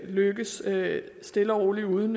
lykkes stille og roligt uden